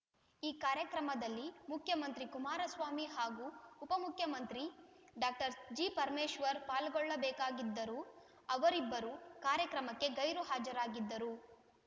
ಈ ಕಾರ್ಯಕ್ರಮದಲ್ಲಿ ಮುಖ್ಯಮಂತ್ರಿ ಕುಮಾರಸ್ವಾಮಿ ಹಾಗೂ ಉಪಮುಖ್ಯಮಂತ್ರಿ ಡಾಕ್ಟರ್ ಜಿ ಪರಮೇಶ್ವರ್ ಪಾಲ್ಗೊಳ್ಳಬೇಕಾಗಿದರೂ ಅವರಿಬ್ಬರೂ ಕಾರ್ಯಕ್ರಮಕ್ಕೆ ಗೈರು ಹಾಜರಾಗಿದ್ದರು